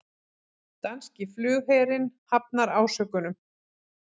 Danski flugherinn hafnar ásökunum